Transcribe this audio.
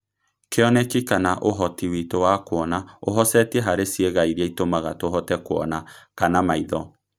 Kĩoneki kana Ũhoti witũ wa kuona ũhocetie harĩ ciĩga iria itũmaga tũhote kuona kana maitho.